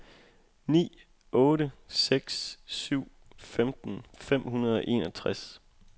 ni otte seks syv femten fem hundrede og enogtres